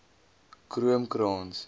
kroomkrans